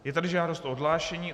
Je tady žádost o odhlášení.